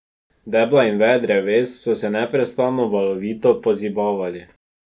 Debla in veje dreves so se neprestano, valovito pozibavali.